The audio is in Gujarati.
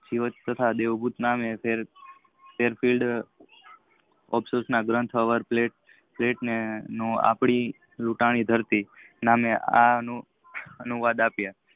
જીવાત થતા દેહગરત નામે તેર પીઠ અફસોસ ના પેટે ને આપણી લુંટાણી ધરતી નામે અનુવાદ આપિયુ